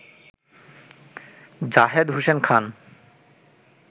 Zahed Hossain Khan